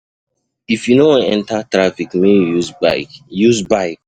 If you no wan enta traffic, make you use bike. use bike.